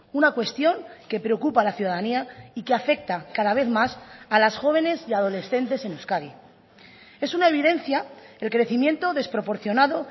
una cuestión que preocupa a la ciudadanía y que afecta cada vez más a las jóvenes y adolescentes en euskadi es una evidencia el crecimiento desproporcionado